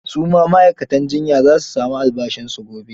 Su ma ma'aikatan jiyya za su sami albashinsu gobe.